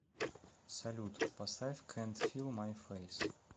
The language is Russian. салют поставь кэнт фил май фейс